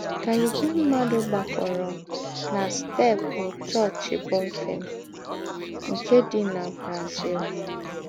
Kà ìgwè mmádụ gbàkọ̀rọ̀ nà steepụ chọọ́chị Bonfim, nke dị nà Brazil.